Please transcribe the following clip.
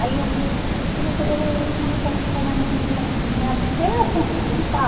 Aí o o o policial ficou olhando assim para mim, até eu conseguir